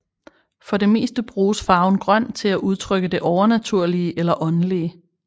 For det meste bruges farven grøn til at udtrykke det overnaturlige eller åndelige